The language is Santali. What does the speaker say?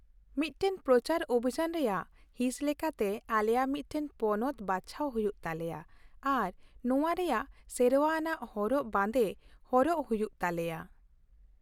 ᱢᱤᱫᱴᱟᱝ ᱯᱨᱚᱪᱟᱨ ᱚᱵᱷᱤᱡᱟᱱ ᱨᱮᱭᱟᱜ ᱦᱤᱸᱥ ᱞᱮᱠᱟᱛᱮ, ᱟᱞᱮᱭᱟᱜ ᱢᱤᱫᱴᱟᱝ ᱯᱚᱱᱚᱛ ᱵᱟᱪᱷᱟᱣ ᱦᱩᱭᱩᱜ ᱛᱟᱞᱮᱭᱟ ᱟᱨ ᱱᱚᱶᱟ ᱨᱮᱭᱟᱜ ᱥᱮᱨᱶᱟ ᱟᱱᱟᱜ ᱦᱚᱨᱚᱜ ᱵᱟᱸᱫᱮ ᱦᱚᱨᱚᱜ ᱦᱩᱭᱩᱜ ᱛᱟᱞᱮᱭᱟ ᱾